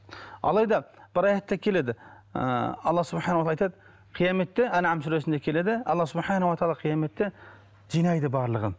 алайда бір аятта келеді ыыы алла айтады қияметте ан нам сүресінде келеді алла қияметте жинайды барлығын